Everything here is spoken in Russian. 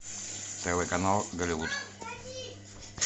тв канал голливуд